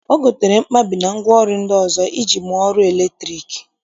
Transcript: O gotere mkpabi na ngwaọrụ ndị ọzọ iji mụọ ọrụ latriki